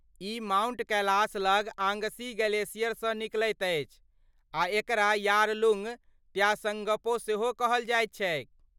ई Mount Kailash लग आङ्गसी ग्लेशियरसँ निकलैत अछि आ एकरा यारलुंग त्साङ्गपो सेहो कहल जाइ छैक।